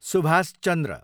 Subhash Chandra